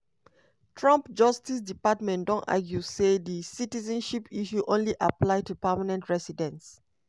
trump justice department don argue say di citizenship issue only apply to permanent residents.